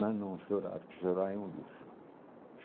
Mas não chorar, porque chorar é um luxo.